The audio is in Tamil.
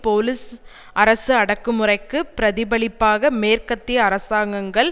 போலீஸ் அரசு அடக்குமுறைக்கு பிரதிபலிப்பாக மேற்கத்திய அரசாங்கங்கள்